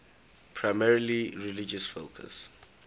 primarily religious focus